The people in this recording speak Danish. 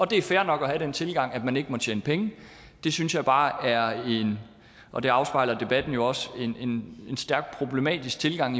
det er fair nok at have den tilgang at man ikke må tjene penge det synes jeg bare er en og det afspejler debatten jo også stærkt problematisk tilgang